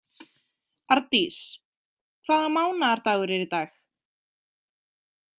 Ardís, hvaða mánaðardagur er í dag?